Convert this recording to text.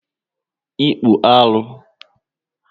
Ịkpụ alụ